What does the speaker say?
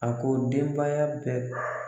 A ko denbaya bɛɛ